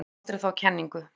Vanmetum aldrei þá kenningu.